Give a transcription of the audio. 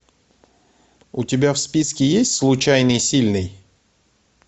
у тебя в списке есть случайный сильный